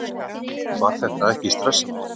Var það ekkert stressandi?